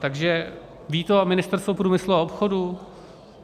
Takže ví to Ministerstvo průmyslu a obchodu?